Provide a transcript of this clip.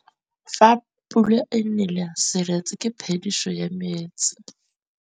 Fa pula e nelê serêtsê ke phêdisô ya metsi.